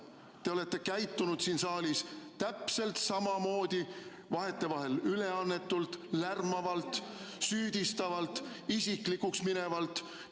Te olete käitunud siin saalis täpselt samamoodi, vahetevahel üleannetult, lärmavalt, süüdistavalt, isiklikuks minevalt.